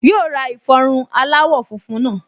Yóò ra ìfọrun aláwọ̀ funfun náà